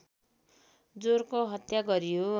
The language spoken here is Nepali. जोरको हत्या गरियो